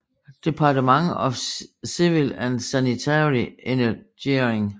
Department of Civil and Sanitary Engineering